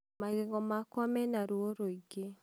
magego makwa mena ruo rũĩngĩ